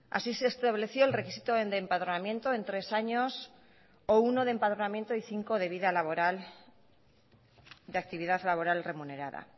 así se estableció el requisito de empadronamiento en tres años o uno de empadronamiento y cinco de vida laboral de actividad laboral remunerada